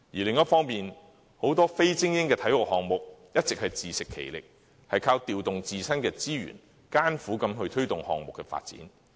另一方面，很多非精英的體育項目一直自食其力，靠調動自身的資源，艱苦地推動項目的發展。